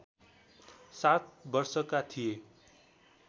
सात वर्षका थिए